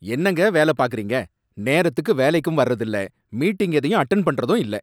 என்னங்க வேல பார்க்கறீங்க? நேரத்துக்கு வேலைக்கும் வர்றது இல்ல, மீட்டிங் எதையும் அட்டென்ட் பண்றதும் இல்ல